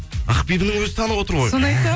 ақбибінің өзі танып отыр ғой соны айтам